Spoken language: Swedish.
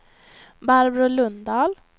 Barbro Lundahl